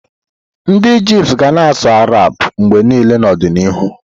Ndị Ijipt ga na-asụ Arabic mgbe niile n'ọdịnihu.